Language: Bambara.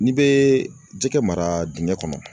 N'i bɛ jɛgɛ mara dingɛ kɔnɔ.